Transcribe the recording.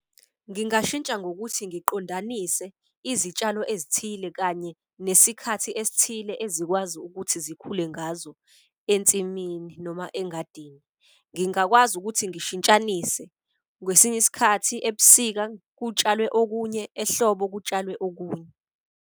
Ngingashintsha ngokuthi ngiqondanise izitshalo ezithile kanye nesikhathi esithile ezikwazi ukuthi zikhule ngazo ensimini noma engadini. Ngingakwazi ukuthi ngishintshanise, kwesinye isikhathi ebusika kutshalwe okunye ehlobo kutshalwe okunye.